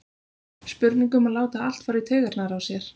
Spurning um að láta allt fara í taugarnar á sér?